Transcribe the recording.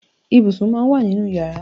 Ibùsùn máà ń wà nínú yàrá.